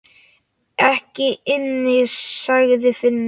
Ekki inni, sagði Finnur.